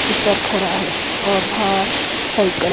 tipper खड़ा है और बाहर साइकल --